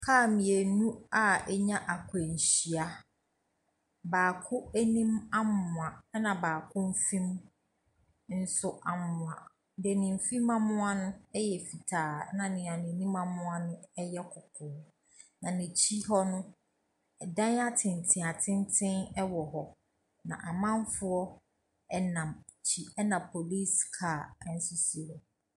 Car mmienu a anya akwanhyia. Baako anim amoa, ɛna baako nso mfe mu nso amoa. Deɛ ne mfe mu amoa no yɛ fitaa, na deɛ n'anim amoa no yɛ kɔkɔɔ. Na n'akyi hɔ no, ɛdan atenten atenten wɔ hɔ. Na amanfoɔ nam akyi, ɛna police car nso si hɔ.